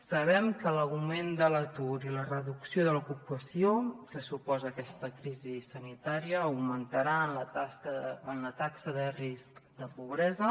sabem que l’augment de l’atur i la reducció de l’ocupació que suposa aquesta crisi sanitària augmentaran la taxa de risc de pobresa